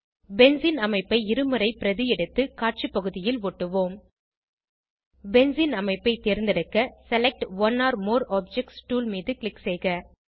benzene அமைப்பை இருமுறை பிரதி எடுத்து காட்சிபகுதியில் ஒட்டுவோம் பென்சீன் அமைப்பை தேர்ந்தெடுக்க select one or more objects tool மீது க்ளிக் செய்க